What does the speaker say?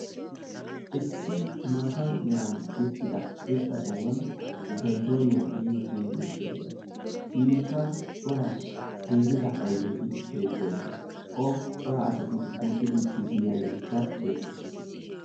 Issi. maata meran tiyettida irxxa sohuwan zaytooniya giyo mittiya beettawusu. Inkka daro ayfeti de'oosona. Okka cora asay duuttiiddikka beettoosona.